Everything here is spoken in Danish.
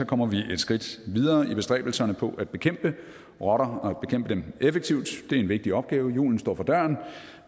kommer vi et skridt videre i bestræbelserne på at bekæmpe rotter og bekæmpe dem effektivt det er en vigtig opgave julen står for døren